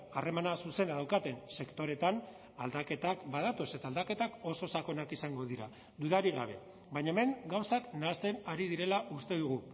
harremana zuzena daukaten sektoreetan aldaketak badatoz eta aldaketak oso sakonak izango dira dudarik gabe baina hemen gauzak nahasten ari direla uste dugu